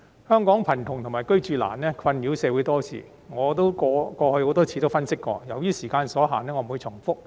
香港貧窮及"居住難"的問題困擾社會多時，我過去亦多次分析過，由於時間所限，我不會重複。